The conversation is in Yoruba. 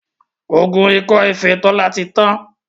oògùn Ikọ efée Tola tí Yàn.